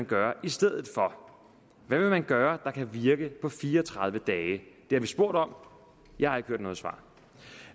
gøre i stedet for hvad vil man gøre der kan virke på fire og tredive dage det har vi spurgt om jeg har ikke hørt noget svar